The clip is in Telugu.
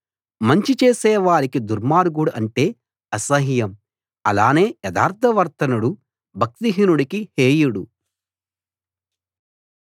మంచి చేసే వారికీ దుర్మార్గుడు అంటే అసహ్యం అలానే యథార్థవర్తనుడు భక్తిహీనుడికి హేయుడు